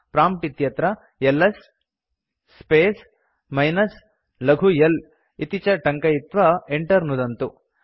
prompt इत्यत्र LS space minus लघु l इति च टङ्कयित्वा enter नुदन्तु